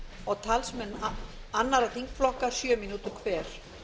og talsmenn annarra þingflokka sjö mínútur hver